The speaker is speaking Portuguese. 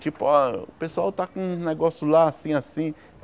Tipo, ó o pessoal tá com um negócio lá, assim, assim.